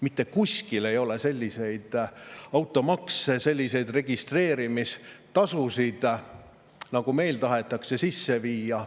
Mitte kuskil ei ole selliseid automakse, selliseid registreerimistasusid, nagu meil tahetakse sisse viia.